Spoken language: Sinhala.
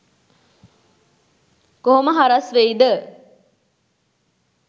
කො‍හො‍ම ‍හ‍රස්‍ ‍වෙ‍යි ‍ද?